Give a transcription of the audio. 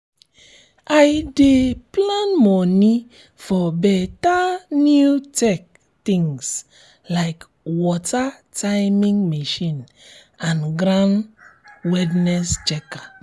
i dey plan money for better new tech things like water timing machine and ground wetness checker